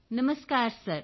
Namaskar sir